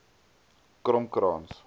kormkrans